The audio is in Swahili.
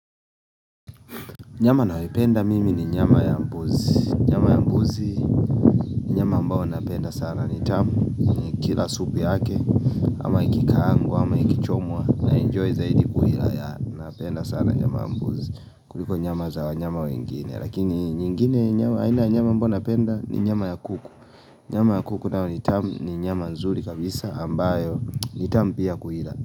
Nyama nayoipenda mimi ni nyama ya mbuzi Nyama ya mbuzi ambao napenda sana ni tamu Kila supu yake ama ikikaangwa ama ikichomwa na enjoy zaidi kuila yaani napenda sana nyama mbuzi kuliko nyama za wanyama wengine Lakini nyingine haina nyama ambayo napenda ni nyama ya kuku Nyama ya kuku nao ni tamu ni nyama nzuri kabisa ambayo ni tamu pia kuila.